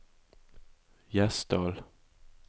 Gjesdal